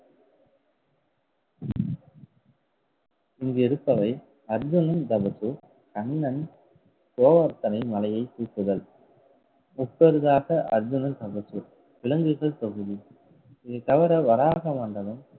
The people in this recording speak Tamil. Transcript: இங்கு இருப்பவை அர்ஜுனன் தவசு, கண்ணன் கோவர்த்தனை மலையைத் தூக்குதல் முப்பரிதாக அர்ஜுனன் விலங்குகள் தொகுதி இது தவிர வராக வேந்தனும்